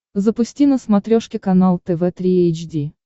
запусти на смотрешке канал тв три эйч ди